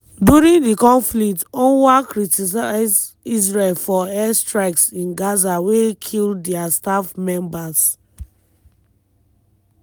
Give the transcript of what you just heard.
during di conflict unrwa criticise israel for air strikes in gaza wey kill dia staff members.